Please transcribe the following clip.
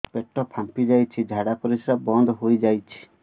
ପେଟ ଫାମ୍ପି ଯାଇଛି ଝାଡ଼ା ପରିସ୍ରା ବନ୍ଦ ହେଇଯାଇଛି